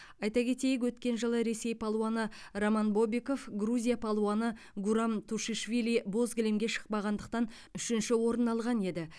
айта кетейік өткен жылы ресей палуаны роман бобиков грузия палуаны гурам тушишвили боз кілемге шықпағандықтан үшінші орын алған еді